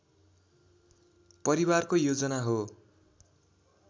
परिवारको योजना हो